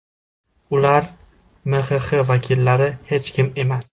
Ular (MXX vakillari) hech kim emas!